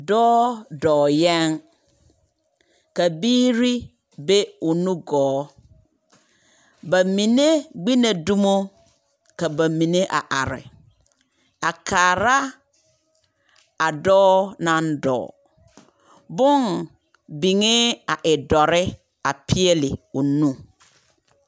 Dɔɔ dɔɔ yɛŋ, ka biiri be o nugɔɔ. Ba mine gbi na dumo, ka ba mine a are a kaara a dɔɔ naŋ dɔɔ. Booho biŋee a e dɔre a peɛle o nu.